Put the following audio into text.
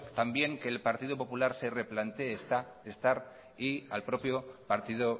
también que el partido popular se replantee estar y al propio partido